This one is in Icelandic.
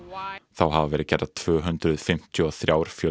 þá hafa verið gerðar tvö hundruð fimmtíu og þrjár